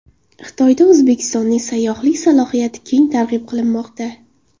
Xitoyda O‘zbekistonning sayyohlik salohiyati keng targ‘ib qilinmoqda.